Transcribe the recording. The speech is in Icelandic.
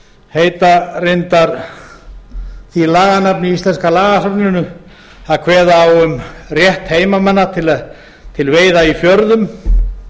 heita reyndar í lagasafnið íslenska lagaasfnsins það er kveðið á um rétt heimamanna til veiða í fjörðum